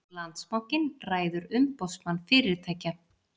Landsbankinn ræður Umboðsmann fyrirtækja